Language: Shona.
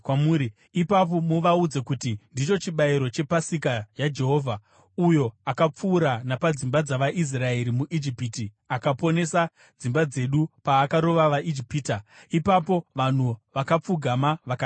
Ipapo muvaudze kuti, ‘Ndicho chibayiro chePasika yaJehovha, uyo akapfuura napadzimba dzavaIsraeri muIjipiti akaponesa dzimba dzedu paakarova vaIjipita.’ ” Ipapo vanhu vakapfugama vakanamata.